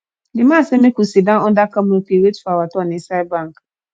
the man say make we sit down under canopy wait for our turn inside bank